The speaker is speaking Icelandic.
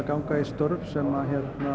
ganga í störf sem